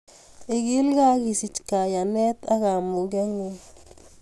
Ikilgei ak isich kaiyanet ak kamugetngung